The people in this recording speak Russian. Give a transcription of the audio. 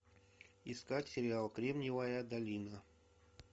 искать сериал кремниевая долина